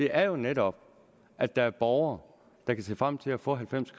er jo netop at der er borgere der kan se frem til at få halvfems